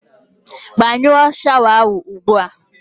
Gbanyụọ shawa ahụ ugbu a!